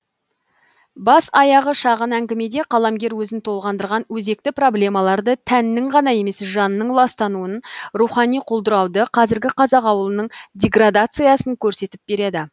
бас аяғы шағын әңгімеде қаламгер өзін толғандырған өзекті проблемаларды тәннің ғана емес жанның ластануын рухани құлдырауды қазіргі қазақ ауылының деградациясын көрсетіп береді